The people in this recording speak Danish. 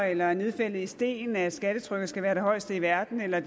eller nedfældet i sten at skattetrykket skal være det højeste i verden eller